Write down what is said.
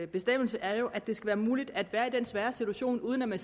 bestemmelse er jo at det skal være muligt at være i denne svære situation uden at